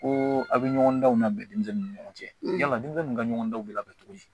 Ko aw bɛ ɲɔgɔndanw labɛn denmisɛnninw ni ɲɔgɔn cɛ yala denmisɛnninw ka ɲɔgɔndanw bɛ labɛn cogo di